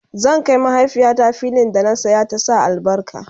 zan Kai mahaifiyata fillin da na saya ta Sa albarka